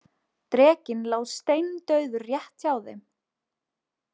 Drekinn lá steindauður rétt hjá þeim.